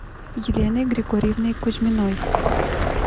еленой григорьевной кузьминой